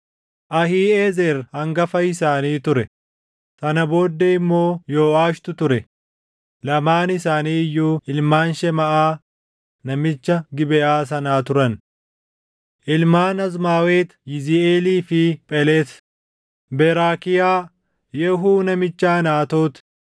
Ahiiʼezer hangafa isaanii ture; sana booddee immoo Yooʼaashitu ture; lamaan isaanii iyyuu ilmaan Shemaaʼaa namicha Gibeʼaa sanaa turan. Ilmaan Azmaawet Yiziiʼeelii fi Phelet, Beraakiyaa, Yehuu namicha Anaatoot,